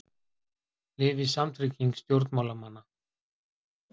Lifi samtrygging stjórnmálamanna